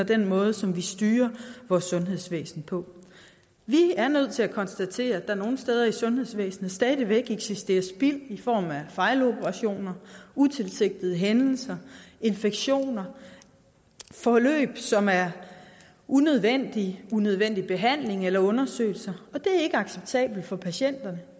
den måde som vi styrer vores sundhedsvæsen på vi er nødt til at konstatere at der nogle steder i sundhedsvæsenet stadig væk eksisterer spild i form af fejloperationer utilsigtede hændelser infektioner forløb som er unødvendige unødvendig behandling eller undersøgelser og det er ikke acceptabelt for patienterne